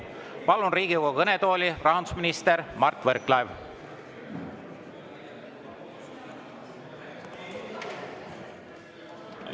Palun Riigikogu kõnetooli rahandusminister Mart Võrklaeva!